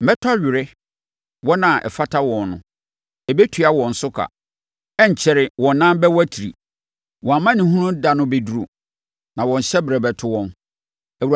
Mɛtɔ awere; wɔn a ɛfata wɔn no, ɛbɛtua wɔn so ka. Ɛrenkyɛre wɔn nan bɛwatiri. Wɔn amanehunu da no bɛduru, na wɔn hyɛberɛ bɛto wɔn.”